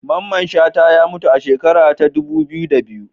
Mamman Shata ya mutu a shekara ta dubu biyu da biyu